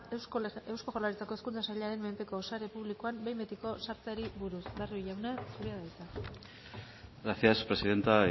eusko jaurlaritzako hezkuntza sailaren menpeko sare publikoan behin betiko sartzeari buruz barrio jauna zurea da hitza gracias presidentas